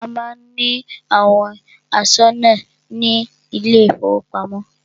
A má ń ní àwọn aṣọ́nà ní ilé ìfọwọ́pamo.